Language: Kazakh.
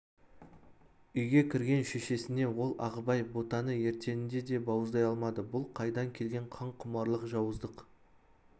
үйге кірген шешесіне ол ағыбай ботаны ертеңінде де бауыздай алмады бұл қайдан келген қанқұмарлық жауыздық